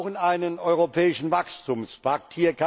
Wir brauchen einen Europäischen Wachstumspakt.